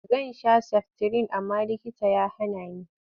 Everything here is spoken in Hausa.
Zan sha saftirin amma likita ya hana ni.